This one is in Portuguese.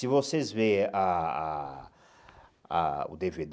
Se vocês veem a a a o dê vê